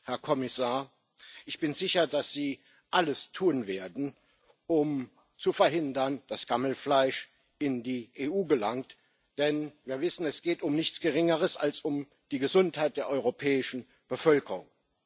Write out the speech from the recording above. Herr Kommissar, ich bin sicher, dass Sie alles tun werden, um zu verhindern, dass Gammelfleisch in die EU gelangt, denn wir wissen, es geht um nichts Geringeres als um die Gesundheit der europäischen Bevölkerung.